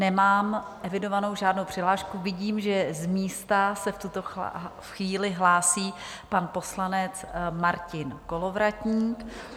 Nemám evidovanou žádnou přihlášku, vidím, že z místa se v tuto chvíli hlásí pan poslanec Martin Kolovratník.